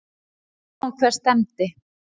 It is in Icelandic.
Við sáum hvert stefndi.